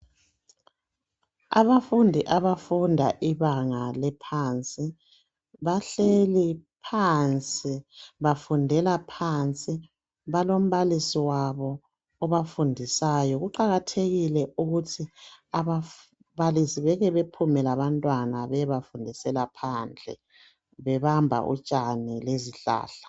Abafundi abafunda ibanga eliphansi bahleli phansi bafundela phansi balombalisi wabo obafundisayo kuqakathekile ukuthi ababalisi beke bephume labantwana beyebafundisela phandle bebamba utshani lezihlahla.